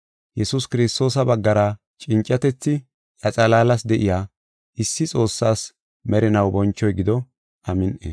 Yesuus Kiristoosa baggara cincatethi iya xalaalas de7iya, issi Xoossaas merinaw bonchoy gido. Amin7i.